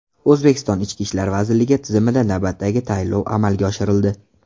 O‘zbekiston Ichki ishlar vazirligi tizimida navbatdagi tayinlov amalga oshirildi.